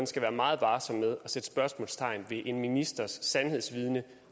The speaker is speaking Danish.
skal være meget varsom med at sætte spørgsmålstegn ved en ministers sandhedsvidne